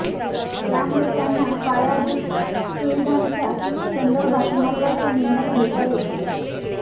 त्यामुळे त्यांना पायाभूत सुविधांच्या संदर्भात महत्त्वाचे निर्णय घेता येतील